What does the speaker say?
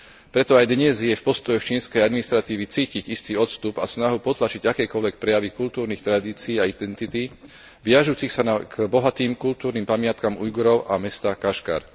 Preto aj dnes je v postojoch čínskej administratívy cítiť istý odstup a snahu potlačiť akékoľvek prejavy kultúrnych tradícií a identity viažucich sa k bohatým kultúrnym pamiatkam Ujgurov a mesta Kašgar.